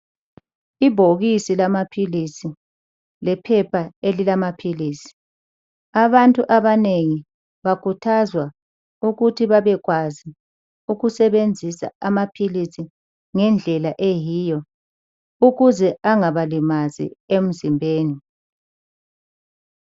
Ibhokisi lamaphilisi, lephepha elilamaphilisi .Abantu abanengi bakhuthazwa ukuthi babekwazi ukusebenzisa amaphilisi ngendlela eyiyo ukuze engabalimazi emzimbeni.